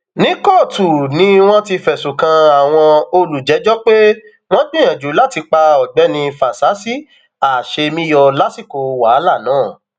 ní kóòtù ni wọn ti fẹsùn kan àwọn olùjẹjọ pé wọn gbìyànjú láti pa ọgbẹni fásisì àṣemíyọ lásìkò wàhálà náà